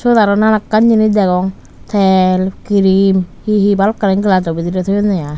sut aro nanaklan jinich degong tel cream he he bhalokkani glajo bidiri thoyunne aai.